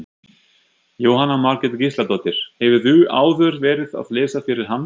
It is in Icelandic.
Jóhanna Margrét Gísladóttir: Hefurðu áður verið að lesa fyrir hann?